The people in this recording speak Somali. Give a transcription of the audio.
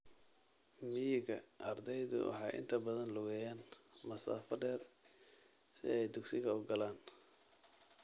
Miyiga, ardaydu waxay inta badan lugeeyaan masaafo dheer si ay dugsiga u galaan.